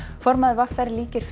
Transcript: formaður v r líkir